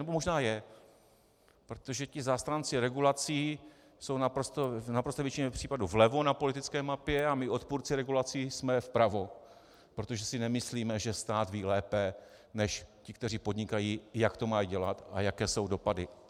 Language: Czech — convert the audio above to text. Nebo možná je, protože ti zastánci regulací jsou v naprosté většině případů vlevo na politické mapě a my odpůrci regulací jsme vpravo, protože si nemyslíme, že stát ví lépe než ti, kteří podnikají, jak to mají dělat a jaké jsou dopady.